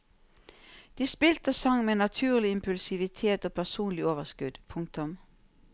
De spilte og sang med naturlig impulsivitet og personlig overskudd. punktum